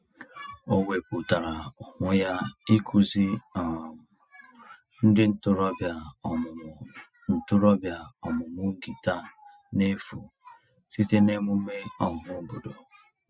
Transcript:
O wepụtara onwe ya ịkụzi um ndị ntorobịa ọmụmụ ntorobịa ọmụmụ gịta n'efu site n'emume ọhaobodo.